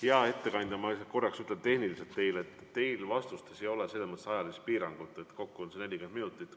Hea ettekandja, ma korraks sekkun ja ütlen teile, et teil vastates ei ole selles mõttes ajalist piirangut, et kokku on 40 minutit.